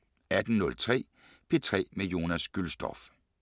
18:03: P3 med Jonas Gülstorff